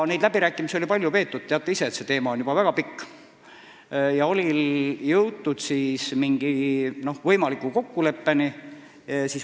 Neid läbirääkimisi oli palju peetud – teate ise, et see vaidlus on juba väga pikk – ja oli jõutud mingi võimaliku kokkuleppeni.